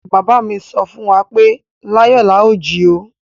Baba mi sọ fún wa pé láyò láà jí o!